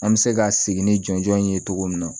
An bɛ se ka segin ni jɔnjɔn in ye cogo min na